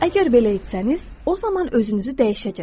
Əgər belə etsəniz, o zaman özünüzü dəyişəcək.